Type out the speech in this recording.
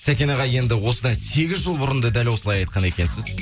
сәкен аға енді осыдан сегіз жыл бұрын да дәл осылай айтқан екенсіз